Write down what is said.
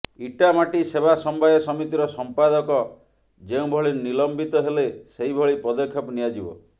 ଇଟାମାଟି ସେବା ସମବାୟ ସମିିତିର ସମ୍ପାଦକ ଯେଉଁଭଳି ନିଲମ୍ବିତ ହେଲେ ସେହିଭଳି ପଦକ୍ଷେପ ନିଆଯିବ